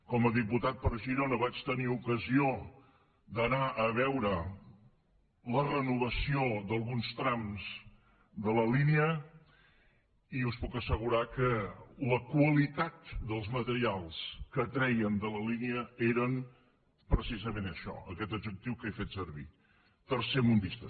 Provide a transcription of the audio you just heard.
com a diputat per girona vaig tenir ocasió d’anar a veure la renovació d’alguns trams de la línia i us puc assegurar que la qualitat dels materials que treien de la línia era precisament això aquest adjectiu que he fet servir tercermundista